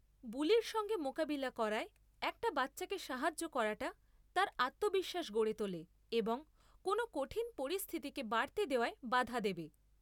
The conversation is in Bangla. বুলির সঙ্গে মোকাবিলা করায় একটা বাচ্চাকে সাহায্য করাটা তার আত্মবিশ্বাস গড়ে তোলে এবং কোনও কঠিন পরিস্থিতিকে বাড়তে দেওয়ায় বাধা দেবে।